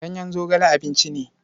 Ganyen zogale abinci ne.